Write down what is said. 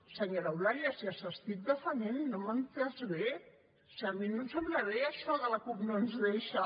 senyora eulàlia si els estic defensant no m’ha entès bé si a mi no em sembla bé això de la cup no ens deixa